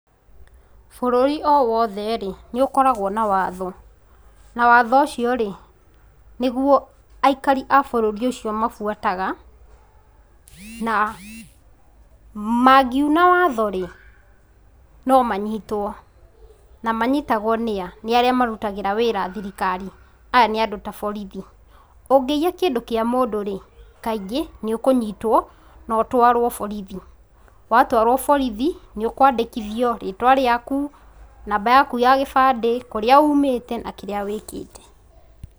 Bũrũri owothe rĩ nĩũkoragwo na watho na watho ũcio rĩ nĩguo aikari abũrũri ũcio mafuataga na mangiũna watho rĩ nomanyitwo, namanyitagwo nĩ a,nĩarĩa marũtagĩra wĩra thirikari aya nĩ andũ ta borithi. Ũngĩiya kĩndũ kĩa mũndũ rĩ kaingĩ nĩũkũnyitwo notwaro borithi, watwaro borithi ,nĩũkwandithio rĩtwa rĩaku, namba yaku ya kibande ,kũrĩa ũmĩte na kĩrĩa wĩkĩte.